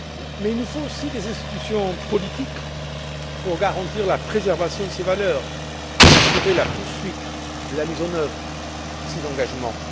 Mais il nous faut aussi des institutions politiques pour garantir la préservation de ces valeurs et assurer la poursuite de la mise en œuvre de ces engagements.